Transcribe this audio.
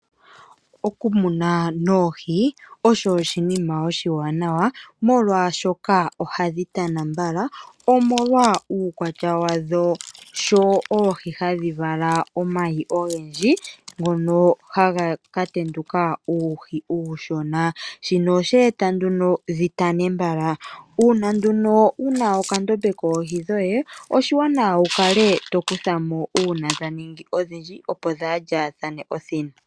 Okumuna oohi osho oshinima oshaanawa, molwaashoka oohi ohadhi tana mbala dho ohadhi vala omayi ogendji gono haga katenduka uuhi uushona, shino ohasheeta oohi dhitane mbala. Uune ngele wuna okandombe koye koohi, oshaanawa wukale hokwatamo dhimwe opo kaadhilye po.